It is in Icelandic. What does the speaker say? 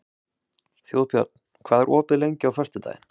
Þjóðbjörn, hvað er opið lengi á föstudaginn?